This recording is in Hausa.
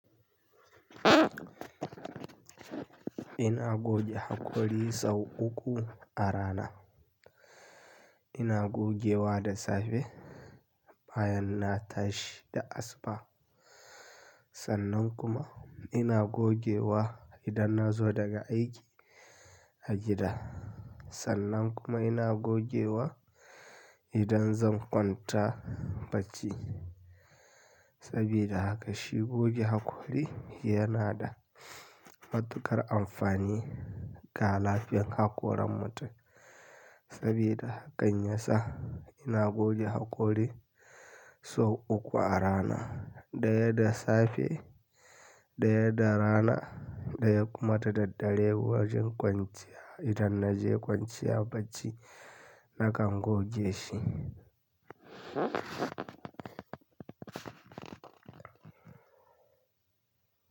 Ina goge hakori sau uku a rana. Ina gogewa da safe, bayan na tashi da asuba. Sannan kuma ina gogewa idan na zo daga aiki a gida. Sannan kuma ina gogewa idan zan kwanta bacci. Saboda haka shi goge hakori yana da matuƙar amfani ga lafiyar hakoran mutum. Saboda haka yasa ina goge hakori sau uku a rana. Ɗaya da safe, ɗaya da rana, ɗaya kuma ta daddare zuwa jin kwanciya. Idan na je kwanciya bacci nakan goge shi.